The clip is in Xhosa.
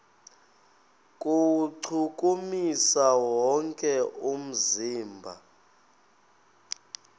kuwuchukumisa wonke umzimba